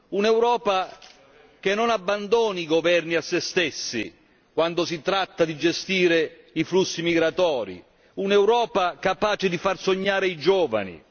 Un'Europa che non abbandoni i governi a se stessi quando si tratta di gestire i flussi migratori, un'Europa capace di far sognare i giovani.